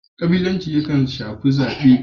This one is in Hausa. Kabilanci yakan shafi zabe.